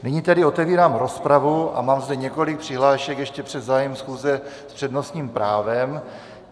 Nyní tedy otevírám rozpravu a mám zde několik přihlášek ještě před zahájením schůze s přednostním právem.